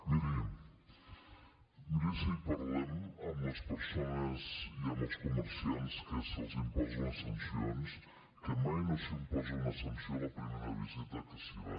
miri miri si parlem amb les persones i amb els comerciants que se’ls imposen les sancions que mai no s’imposa una sanció a la primera visita que s’hi va